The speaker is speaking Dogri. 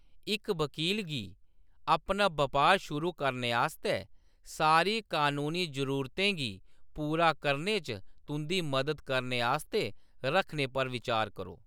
इक वक़ील गी अपना बपार शुरू करने आस्तै सारी कनूनी जरूरतें गी पूरा करने च तुंʼदी मदद करने आस्तै रखने पर बिचार करो।